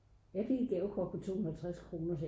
jeg fik et gavekort på 250 kroner